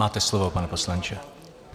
Máte slovo, pane poslanče.